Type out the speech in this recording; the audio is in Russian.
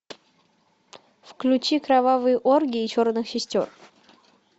включи кровавые оргии черных сестер